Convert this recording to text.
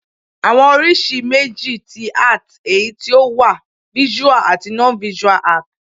Àwọn oríṣi méjì ti Art èyí tí o wà Visual àti Non-visual Art